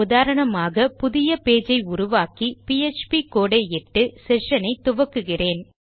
உதாரணமாக புதிய பேஜ் ஐ உருவாக்கி பிஎச்பி கோடு ஐ இட்டு செஷன் ஐ துவக்குகிறேன்